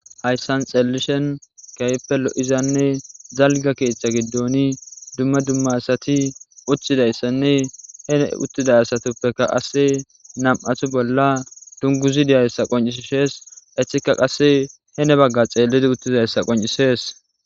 hayssan xellishen kayppe lo'izanne dalga keethata giddoni dumma dumma asati uththidayssanne hene uttida asatuppeka qasse nam'athu bolla dunguzi diyayssa qoncisshees etika qasse hene bagga xeellidi uttizayssa qoncisees